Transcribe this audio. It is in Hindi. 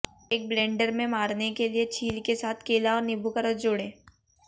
एक ब्लेंडर में मारने के लिए छील के साथ केला और नींबू का रस जोड़ें